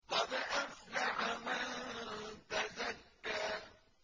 قَدْ أَفْلَحَ مَن تَزَكَّىٰ